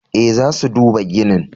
Eh, za su duba ginin.